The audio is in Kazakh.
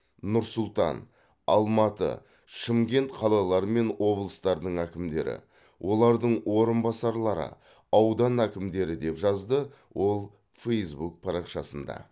нұр сұлтан алматы шымкент қалалары мен облыстардың әкімдері олардың орынбасарлары аудан әкімдері деп жазды ол фэйсбук парақшасында